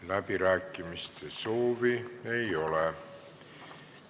Läbirääkimiste soovi ei ole.